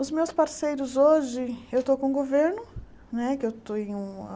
Os meus parceiros hoje, eu estou com o governo, né que eu tenho